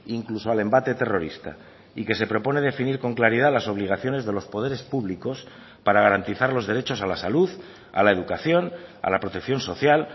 incluso al embate terrorista y que se propone definir con claridad las obligaciones de los poderes públicos para garantizar los derechos a la salud a la educación a la protección social